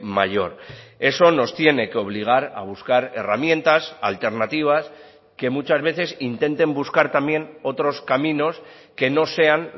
mayor eso nos tiene que obligar a buscar herramientas alternativas que muchas veces intenten buscar también otros caminos que no sean